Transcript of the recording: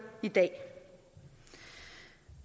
i dag